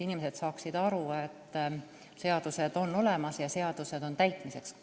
Inimesed peavad saama aru, et seadused on olemas ja need on täitmiseks.